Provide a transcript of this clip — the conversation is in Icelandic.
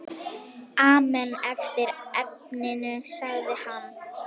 Amen eftir efninu sagði hann.